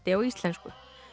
á íslensku